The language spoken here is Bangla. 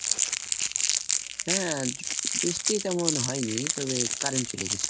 হ্যাঁ বৃষ্টি তেমন হয়নি তবে current চলে গেছিলো।